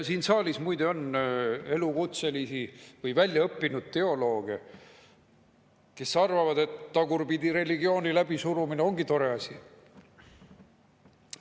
Siin saalis muide on elukutselisi või väljaõppinud teolooge, kes arvavad, et tagurpidi religiooni läbisurumine ongi tore asi.